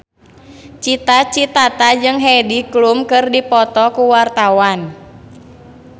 Cita Citata jeung Heidi Klum keur dipoto ku wartawan